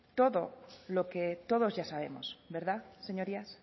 todo lo que todos ya sabemos verdad señorías